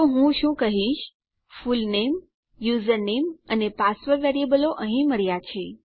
તો હું શું કહીશ ફૂલનેમ યુઝરનેમ અને પાસવર્ડ વેરીએબલો અહીં મળ્યા છે